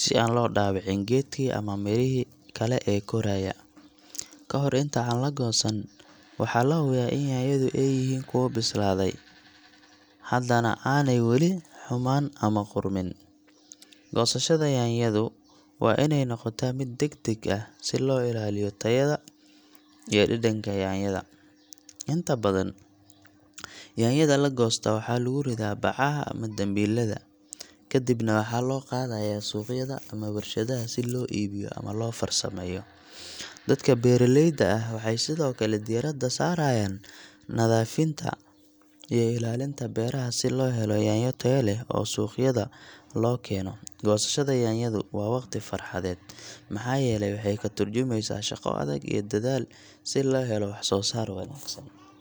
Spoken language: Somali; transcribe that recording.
si aan loo dhaawicin geedkii ama mirahii kale ee koraya. Ka hor inta aan la goosan, waxaa la hubiyaa in yaanyadu ay yihiin kuwo bislaaday, hadana aanay weli xumaan ama qudhmin. Goosashada yaanyadu waa inay noqotaa mid degdeg ah, si loo ilaaliyo tayada iyo dhadhanka yaanyada. Inta badan, yaanyada la goosto waxaa lagu ridaa bacaha ama dambiilada, kadibna waxaa loo qaadayaa suuqyada ama warshadaha si loo iibiyo ama loo farsameeyo. Dadka beeraleyda ah waxay sidoo kale diiradda saarayaan nadiifinta iyo ilaalinta beeraha si loo helo yaanyo tayo leh oo suuqyada loo keeno. Goosashada yaanyadu waa waqti farxadeed, maxaa yeelay waxay ka tarjumaysaa shaqo adag iyo dadaal si loo helo wax-soo-saar wanaagsan.